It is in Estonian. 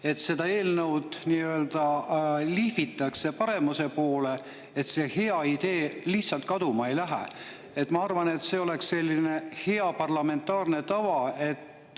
Et seda eelnõu lihvitakse paremuse poole, et see hea idee lihtsalt kaduma ei läheks – ma arvan, et see oleks hea parlamentaarne tava.